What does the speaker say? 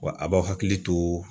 Wa a b'aw hakili to